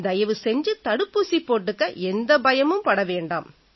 தயவு செஞ்சு தடுப்பூசி போட்டுக்க எந்த பயமும் பட வேண்டாம்